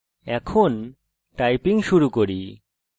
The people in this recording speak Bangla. এখন typing শুরু করি